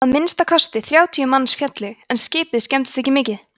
að minnsta kosti þrjátíu manns féllu en skipið skemmdist ekki mikið